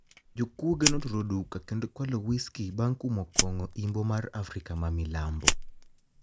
Jokuoge noturo duka kenido kwalo whiskey banig kumo konigo imbo mar afrika mamilambo